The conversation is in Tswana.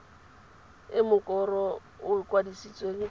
e mokoro o kwadisitsweng ka